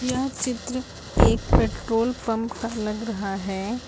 यह चित्र एक पेट्रोल पंप का लग रहा है।